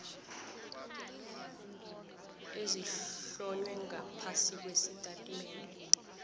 ezihlonywe ngaphasi kwesitatimende